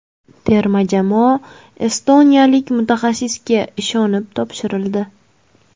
Terma jamoa estoniyalik mutaxassisga ishonib topshirildi.